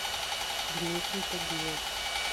дмитрий тагилов